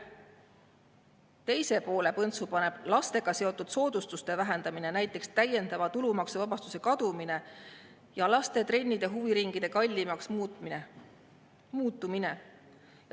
Teise poole põntsust paneb lastega seotud soodustuste vähendamine, näiteks täiendava tulumaksuvabastuse kadumine, ja laste trennide ja huviringide kallimaks muutumine.